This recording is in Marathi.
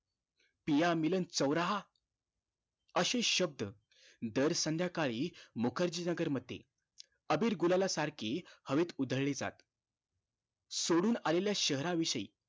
पिया मिलन चोऱहा अशे शब्द दर संध्याकाळी मुखर्जी नगर मध्ये अबीर गुलाला सारखी हवेत उधळी जात सोडून आलेल्या शहरा विषयी